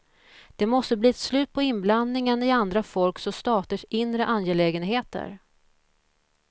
Det måste bli ett slut på inblandningen i andra folks och staters inre angelägenheter.